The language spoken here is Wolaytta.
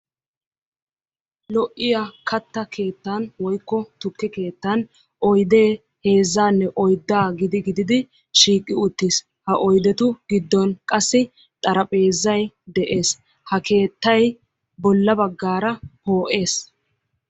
Lo"iyaa katta keettan woykko tukke keettan oydee heezzaanne oyddaa gidi gididi shiiqi uttis. Ha oydetu giddon qassi xarapheezay de'ees. Ha keettay bolla baggaara poo'ees.